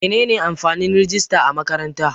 Menene amfanin rijista a makaranta?